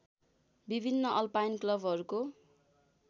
विभिन्न अल्पाइन क्लबहरूको